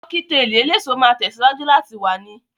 Kọ́kítelì eléso máa tẹ̀síwájú láti wà ni